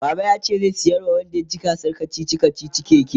baba yace zai saya wa wanda yaci gasar kachichi kachichin keke